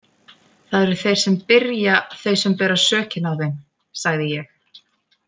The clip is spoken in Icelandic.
Það eru þeir sem byrja þau sem bera sökina á þeim, sagði ég.